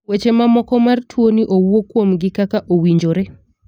weche ma moko mar tuo ni owuo kuom gi kaka owinjore.